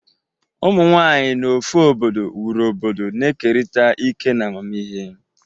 Ụmụ nwanyị n'ofe obodo wuru obodo, na-ekerịta ike na amamihe.